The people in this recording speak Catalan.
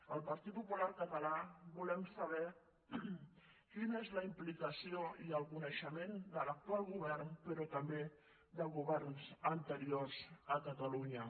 el partit popular català volem saber quina és la implicació i el coneixement de l’actual govern però també de governs anteriors a catalunya